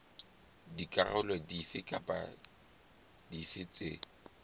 dikarolo dife kapa dife tse